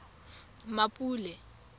mmapule